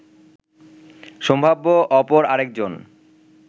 সম্ভাব্য অপর আরেকজন